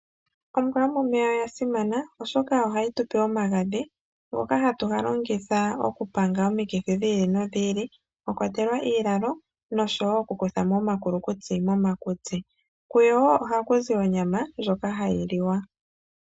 Ombwa yomomeya oyasimana oshoka ohayi tupe omagadhi , ngoka haga longithwa okupanga omikithi dhili nodhili ,mono unene mwakwatelwa iilalo noshowoo okukuthamo omakutsi momakutsi. Kuyo ohaku zi onyama ndjoka hayi liwa.